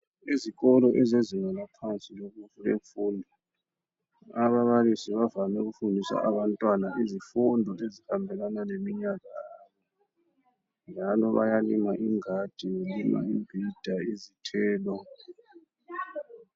Izikolo ezezinga laphansi lemfundo, ababalisi bavame ukufundisa abantwana izifundo ezihambelana leminyaka yabo, njalo bayalima ingadi belima imbhida izithelo.